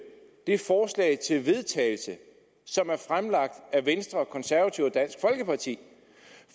det forslag til vedtagelse som er fremsat af venstre konservative og dansk folkeparti